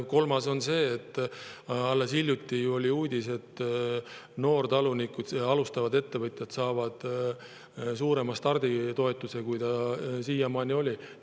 Kolmandaks see, mille kohta alles hiljuti oli uudis, et noortalunikud, alustavad ettevõtjad, saavad suurema starditoetuse, kui see siiani oli.